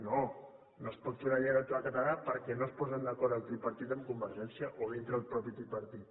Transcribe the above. no no es pot fer una llei electoral catalana perquè no es posen d’acord el tripartit amb convergència o dintre el mateix tripartit